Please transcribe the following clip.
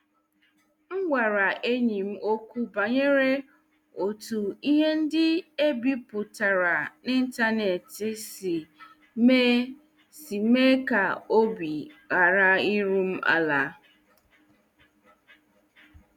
M gwara enyi m okwu banyere otu ihe ndị e bipụtara n'ịntanetị si mee si mee ka obi ghara iru m ala.